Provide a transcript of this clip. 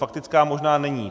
Faktická možná není.